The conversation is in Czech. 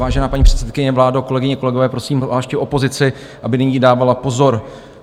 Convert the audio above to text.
Vážená paní předsedkyně, vládo, kolegyně, kolegové, prosím zvláště opozici, aby nyní dávala pozor.